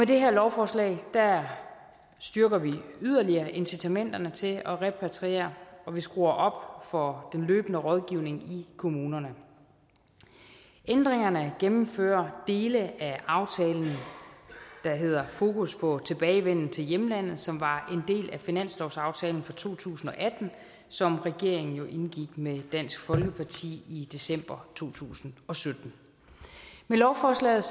det her lovforslag styrker vi yderligere incitamenterne til at repatriere og vi skruer op for den løbende rådgivning i kommunerne ændringerne gennemfører dele af aftalen der hedder fokus på tilbagevenden til hjemlandet som var en del af finanslovsaftalen for to tusind og atten som regeringen jo indgik med dansk folkeparti i december to tusind og sytten med lovforslaget